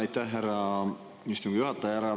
Aitäh, härra istungi juhataja!